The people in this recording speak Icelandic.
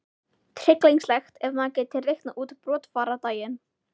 Tryllingslegt ef maður gæti reiknað út brottfarardaginn!